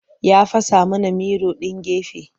Ya fasa mana miro ɗin gefe.